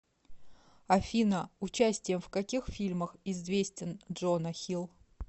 афина участием в каких фильмах известен джона хилл